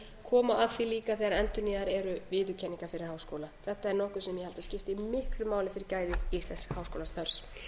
koma að því líka þegar endurnýjaðar eru viðurkenningar fyrir háskóla þetta er nokkuð sem ég held að skipti miklu máli fyrir gæði íslensks háskólastarfs